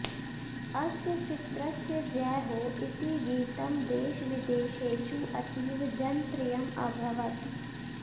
अस्य चित्रस्य जै हो इति गीतं देशविदेशेषु अतीव जनप्रियम् अभवत्